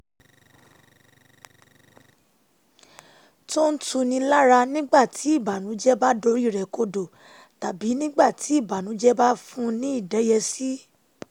tó ń tuni lára nígbà tí ìbànújẹ́ bá dorí rẹ̀ kodò tàbí nígbà tí ìbànújẹ́ bá fun ní ìdẹ́yẹsí